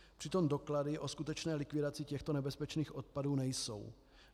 Přitom doklady o skutečné likvidaci těchto nebezpečných odpadů nejsou.